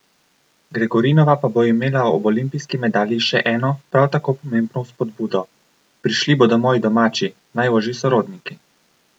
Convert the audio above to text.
Gregorinova pa bo imela ob olimpijski medalji še eno, prav tako pomembno vzpodbudo: "Prišli bodo moji domači, najožji sorodniki.